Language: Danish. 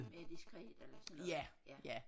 Mere diskret eller sådan noget ja